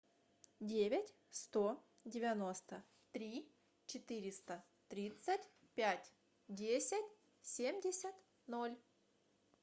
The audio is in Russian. девять сто девяносто три четыреста тридцать пять десять семьдесят ноль